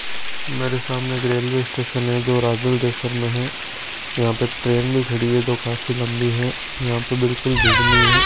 मेरे सामने एक रेलवे स्टेशन है जो राजल देसन में है यहां पर एक ट्रेन भी खड़ी है जो काफी लंबी है यहां पे बिल्कुल भीड़ नी है।